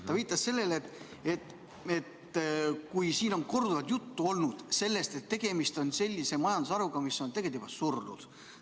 Ta viitas sellele, et siin on korduvalt juttu olnud sellest, et tegemist on majandusharuga, mis on tegelikult juba surnud.